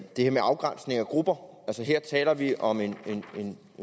det med afgrænsning af grupper her taler vi om en